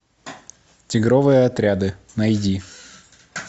тигровые отряды найди